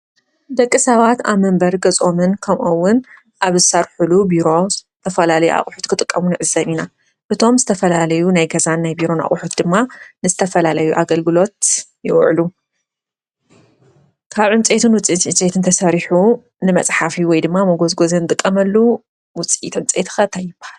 ደቂ ሰባት አብ መንበሪ ገዝኦምን ከምኡ’ውን አብ ዝሰርሕሉ ቢሮ ዝተፈላለዩ አቑሑት ክጥቀሙ ንዕዘብ ኢና:: እቶም ዝተፈላለዩ ናይ ገዛናን ቢሮን አቑሑት ድማ ንዝተፈላለዩ አገልግሎት ይውዕሉ። ካብ ዕንፀይትን ውፅኢትን ዕንፀይትን ተሰሪሑ ንመፅሓፊ ወይ ድማ ንመጎዝጎዚ እንጥቐመሉ ውፅኢት ዕንፀይቲ ኸ እንታይ ይበሃል?